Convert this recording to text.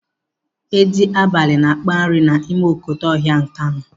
Edi abalị na-akpa nri n'ime okotoko ọhịa Nkanu.